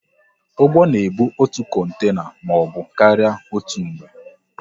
Ụgbọ na ebu otu kontena maọbụ karịa otú mgbe